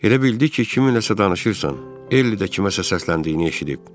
Elə bildi ki, kiminləsə danışırsan, Ell də kiməsə səsləndiyini eşidib.